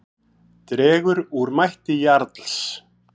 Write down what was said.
Dregur úr mætti Jarls